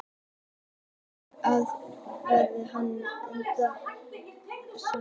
Þeir fylltu hólk, sem lokaður var í annan endann, með púðri og festu á stöng.